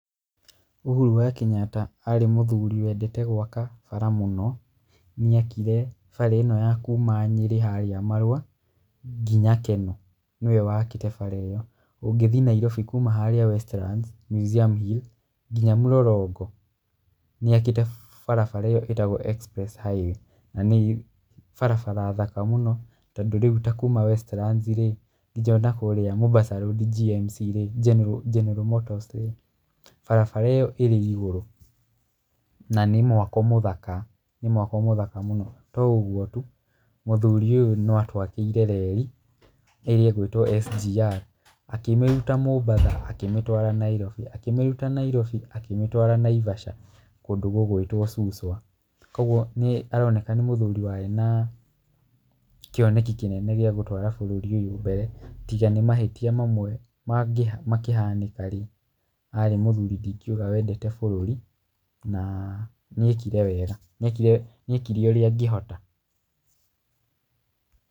Uhuru wa Kenyatta arĩ mũthũri wendeta gwaka bara mũno, nĩakire bara ĩno ya kũma Nyeri harĩa Marua, nginya Kenol, nĩwe wakire bara ĩyo. Ũngĩthi Nairobi kũma harĩa Westlands, Museum Hill, nginya Mlolongo, nĩakiĩte bara ĩyo ĩtagwo epress highway. Na nĩ barabara thaka mũno tondũ rĩũ takũma Westlands, nyinya nakũrĩa Mombasa Road GNC, general motors barabara ĩyo ĩrĩ igũrũ. Na nĩ mwako mũthaka. Nĩ mwako mũthaka mũno. To ũgũo tũ, mũtrhũri ũyũ noatwakĩire rei, ĩrĩa ĩgĩtwo SGR, akĩmĩrũta Mombasa, akĩmĩtwara Nairobi, akĩmĩrũta Nairobi, akĩmĩtwara Naivasha, kũndũ gũgwĩtwo Suswa. Kwoguo nĩ, nĩaroneka nĩ mũthũri warĩ na kĩoneki kĩnene gĩa gũtwara bũrũri ũyũ mbere , tiga nĩ mahĩtia mamwe mangĩ, makĩhanĩkarĩ, arĩ mũthũri tũngiũga wendete bũrũri, na nĩekire wega. Nĩekire ũrĩa angĩhota.